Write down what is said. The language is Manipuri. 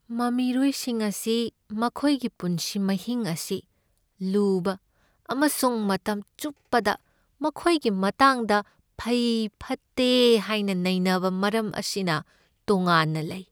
ꯃꯃꯤꯔꯣꯏꯁꯤꯡ ꯑꯁꯤ ꯃꯈꯣꯏꯒꯤ ꯄꯨꯟꯁꯤ ꯃꯍꯤꯡ ꯑꯁꯤ ꯂꯨꯕ ꯑꯃꯁꯨꯡ ꯃꯇꯝ ꯆꯨꯞꯄꯗ ꯃꯈꯣꯏꯒꯤ ꯃꯇꯥꯡꯗ ꯐꯩ ꯐꯠꯇꯦ ꯍꯥꯏꯅ ꯅꯩꯅꯕ ꯃꯔꯝ ꯑꯁꯤꯅ ꯇꯣꯉꯥꯟꯅ ꯂꯩ꯫